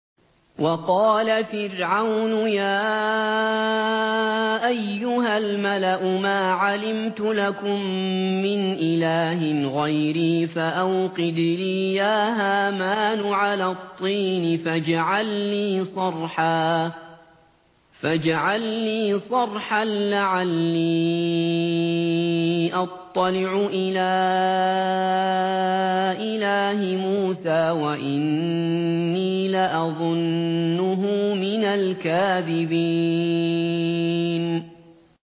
وَقَالَ فِرْعَوْنُ يَا أَيُّهَا الْمَلَأُ مَا عَلِمْتُ لَكُم مِّنْ إِلَٰهٍ غَيْرِي فَأَوْقِدْ لِي يَا هَامَانُ عَلَى الطِّينِ فَاجْعَل لِّي صَرْحًا لَّعَلِّي أَطَّلِعُ إِلَىٰ إِلَٰهِ مُوسَىٰ وَإِنِّي لَأَظُنُّهُ مِنَ الْكَاذِبِينَ